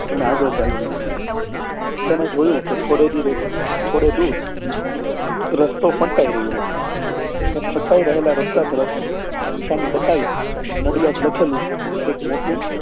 અને આગળ ચાલવા લાગ્યો તેને જોયું કે થોડે દૂરે થોડે દુર રસ્તો પલટાઈ રહ્યો હતો એ રહેલા રસ્તા તરફ નિશાની બતાઈ નડિયાદ લખેલું એક મોટું